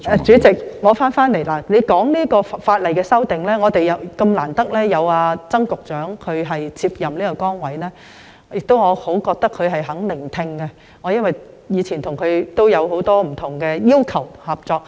主席提到修訂法例，我們很難得有曾局長接任這崗位，而我認為他十分願意聆聽，因為以往我曾向他提出不少要求，亦曾經合作。